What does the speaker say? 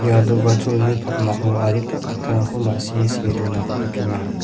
ia do·gacholni pakmao adita kattarangko ma·sie see donako nikenga.